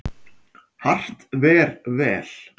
Hart ver vel.